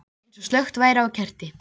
Eins og slökkt væri á kerti.